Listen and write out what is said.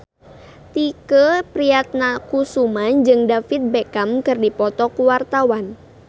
Tike Priatnakusuma jeung David Beckham keur dipoto ku wartawan